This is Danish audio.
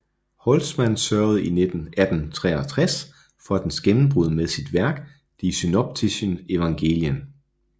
Holtzmann sørgede i 1863 for dens gennembrud med sit værk Die synoptischen Evangelien